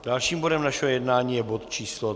Dalším bodem našeho jednání je bod číslo